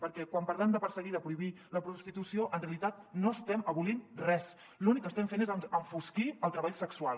perquè quan parlem de perseguir i de prohibir la prostitució en realitat no estem abolint res l’únic que estem fent és enfosquir el treball sexual